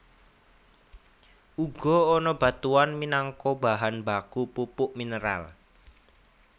Uga ana batuan minangka bahan baku pupuk mineral